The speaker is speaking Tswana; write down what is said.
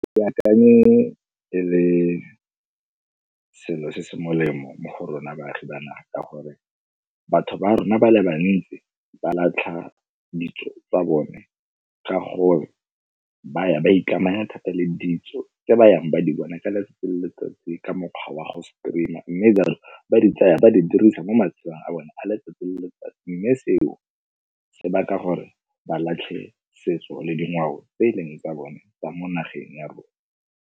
Ke akanye e le selo se se molemo mo go rona baagi ba naga ka gore batho ba rona ba le bantsi ba latlha ditso tsa bone ka gore ba ya ba ikamanya thata le ditso tse ba yang ba di bona ka letsatsi le letsatsi ka mokgwa wa go stream-a. Mme batho ba di tsaya ba di dirisa mo matshelong a bone a letsatsi le letsatsi, mme seo se baka gore ba latlhe setso le dingwao tse e leng tsa bone tsa mo nageng ya rona.